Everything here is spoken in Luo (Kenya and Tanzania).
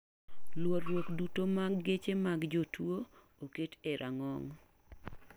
Luorruok duto mag geche mag jotuo oket e rang'ong.